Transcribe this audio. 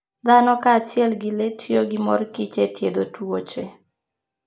Dhano kaachiel gi le tiyo gi mor kich e thiedho tuoche.